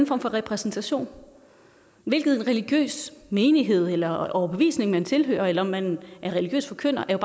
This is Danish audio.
form for repræsentation hvilken religiøs menighed eller overbevisning man tilhører eller om man er religiøs forkynder er